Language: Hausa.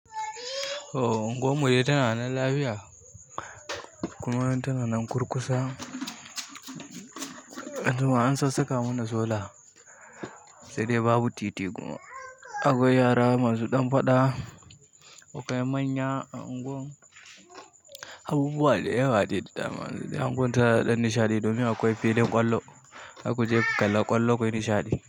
Unguwar mu dai tana nan lafiya kuma tana nan kurkusa. Anjima an sassaka mana sola sai dai babu titi kuma akwai yara masu ɗan faɗa. Akwai manya a unguwar mu, abubuwa da yawa da dama. Unguwar ta da ɗan nishaɗi domin akwai filin ƙwallo, zakuje ku kalla ƙwallo kuyi nishaɗi.